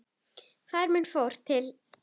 Faðir minn fór til